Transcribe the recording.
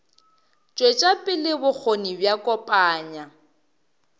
tšwetša pele bokgoni bja kopanya